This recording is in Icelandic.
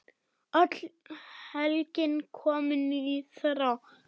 Öll helgin komin í þrot.